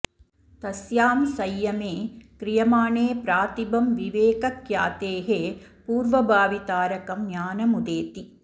तस्यां संयमे क्रियमाणे प्रातिभं विवेकख्यातेः पूर्वभावि तारकं ज्ञानमुदेति